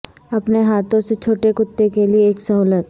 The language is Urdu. اپنے ہاتھوں سے چھوٹے کتے کے لئے ایک سہولت